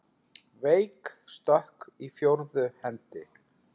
Veik stökk í fjórðu hendi!